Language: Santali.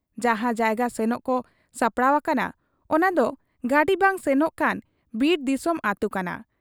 ᱡᱟᱦᱟᱸ ᱡᱟᱭᱜᱟ ᱥᱮᱱᱚᱜ ᱠᱚ ᱥᱟᱯᱲᱟᱣ ᱟᱠᱟᱱᱟ ᱚᱱᱟᱫᱚ ᱜᱟᱹᱰᱤ ᱵᱟᱝ ᱥᱮᱱᱚᱜ ᱠᱟᱱ ᱵᱤᱨ ᱫᱤᱥᱚᱢ ᱟᱹᱛᱩ ᱠᱟᱱᱟ ᱾